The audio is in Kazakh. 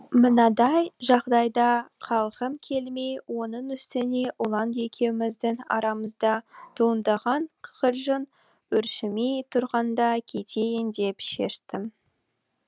мынадай жағдайда қалғым келмей оның үстіне ұлан екеуміздің арамызда туындаған кикілжің өршімей тұрғанда кетейін деп шештім